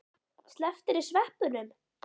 Slepptirðu sveppunum?